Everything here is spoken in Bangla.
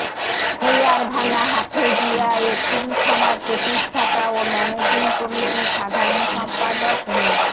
খৈয়ারভাঙ্গা হাফেজিয়া এতিমখানার প্রতিষ্ঠাতা ও ম্যানেজিং কমিটির সাধারণ সম্পাদক মো